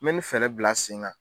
I bɛ nin fɛɛrɛ bila sen kan